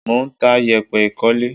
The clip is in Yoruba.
Mò ń ta yèpẹ̀ ìkólé.